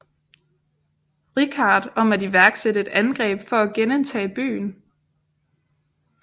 Richard om at iværksætte et angreb for at genindtage byen